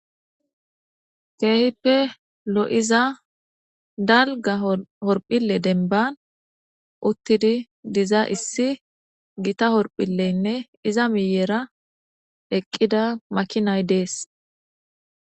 Keehippe lo7iza dalga horphille denban uttidi diza issi gita horphileynne iza miyeera eqqida makinay dees.